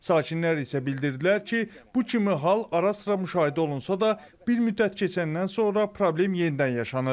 Sakinlər isə bildirdilər ki, bu kimi hal ara-sıra müşahidə olunsa da, bir müddət keçəndən sonra problem yenidən yaşanır.